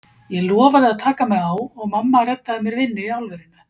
Ég lofaði að taka mig á og mamma reddaði mér vinnu í álverinu.